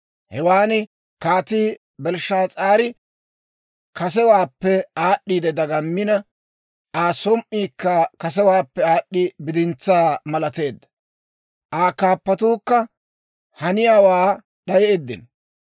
Hewaan Kaatii Belshshaas'aari kasewaappe aad'd'i dagammina, Aa som"iikka kasewaappe aad'd'i bidintsaa malateedda. Aa kaappatuukka haniyaawaa d'ayeeddino.